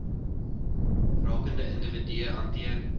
rakende individue hanteer